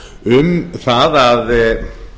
um það að